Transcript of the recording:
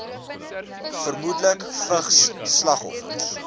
vermoedelik vigs slagoffers